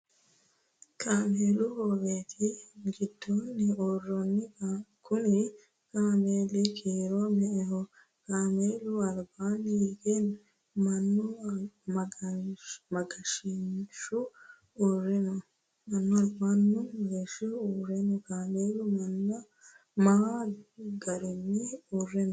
Kaameelu hoowete gidoonni uurenonna kunni kaameeli kiiro me"eho? Kaameellaho albaanni hige Manu mageeshihu uure no? Kaameelu maa agare uure no?